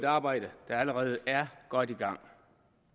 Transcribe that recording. arbejde der allerede er godt i gang